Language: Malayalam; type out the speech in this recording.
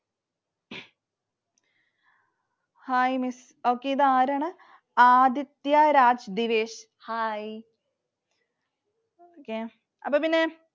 Hi Miss. Okay ഇതാരാണ്? ആദിത്യ രാജ് Hi. അപ്പൊ പിന്നെ